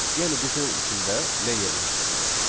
Yəni qutunun içində nə yerləşdirilib.